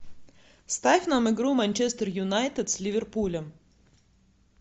ставь нам игру манчестер юнайтед с ливерпулем